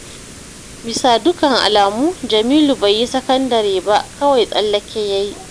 Bisa dukkan alamu Jamilu bai yi sakandare ba kawai tsallake ya yi